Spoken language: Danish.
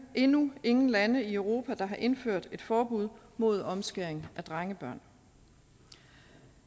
endnu ingen lande i europa der har indført et forbud mod omskæring af drengebørn